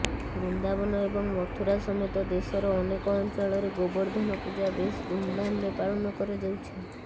ବୃନ୍ଦାବନ ଏବଂ ମଥୁରା ସମେତ ଦେଶର ଅନେକ ଅଞ୍ଚଳରେ ଗୋର୍ବଦ୍ଧନ ପୂଜା ବେଶ ଧୁମଧାମରେ ପାଳନ କରାଯାଉଛି